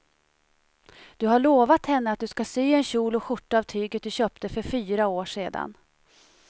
Du har lovat henne att du ska sy en kjol och skjorta av tyget du köpte för fyra år sedan.